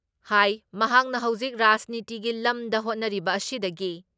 ꯍꯥꯏ ꯃꯍꯥꯛꯅ ꯍꯧꯖꯤꯛ ꯔꯥꯖꯅꯤꯇꯤꯒꯤ ꯂꯝꯗ ꯍꯣꯠꯅꯔꯤꯕ ꯑꯁꯤꯗꯒꯤ